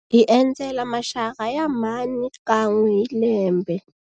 Hi endzela maxaka ya mhani kan'we hi lembe.